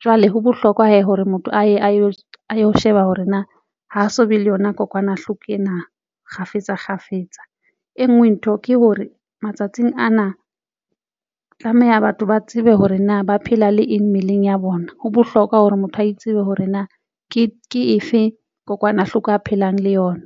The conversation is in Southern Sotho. Jwale ho bohlokwa hore motho aye ayo a ilo sheba hore na ho so be le yona kokwanahloko ena kgafetsa kgafetsa. E nngwe ntho ke hore matsatsing ana tlameha batho ba tsebe hore na ba phela le eng mmeleng ya bona. Ho bohlokwa hore motho a itsebe hore na ke ke efe kokwanahloko a phelang le yona.